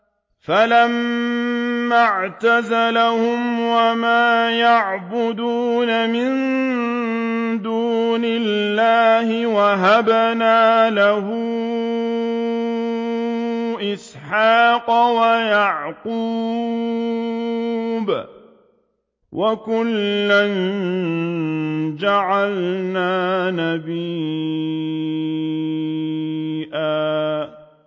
فَلَمَّا اعْتَزَلَهُمْ وَمَا يَعْبُدُونَ مِن دُونِ اللَّهِ وَهَبْنَا لَهُ إِسْحَاقَ وَيَعْقُوبَ ۖ وَكُلًّا جَعَلْنَا نَبِيًّا